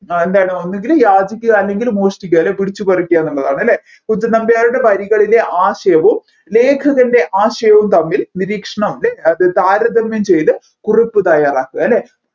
ആ എന്താണ് ഒന്നുകിൽ യാചിക്കുക അല്ലെങ്കിൽ മോഷ്ടിക്കുക അല്ലെങ്കിൽ പിടിച്ച്പറിക്കുക എന്നതാണ് അല്ലെ കുഞ്ചൻനമ്പ്യാരുടെ വരികളിലെ ആശയവും ലേഖകൻെറ ആശയവും തമ്മിൽ നിരീക്ഷണം അല്ലേൽ അത് താരതമ്യം ചെയ്തു കുറിപ്പ് തയ്യാറാക്കുക